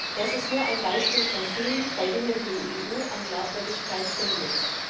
Das ist nur ein Beispiel von vielen, bei denen die EU an Glaubwürdigkeit verliert.